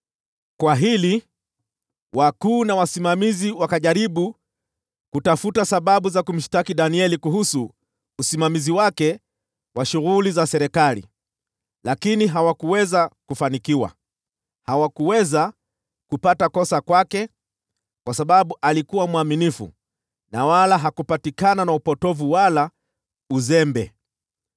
Walipofahamu hilo, wakuu na wasimamizi wakajaribu kutafuta sababu za kumshtaki Danieli kuhusu usimamizi wake wa shughuli za serikali, lakini hawakuweza kufanikiwa. Hawakuweza kupata kosa kwake, kwa sababu alikuwa mwaminifu, wala hakupatikana na upotovu au uzembe.